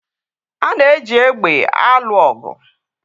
A na-eji égbè eme alụ ọgụ.